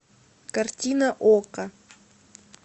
картина окко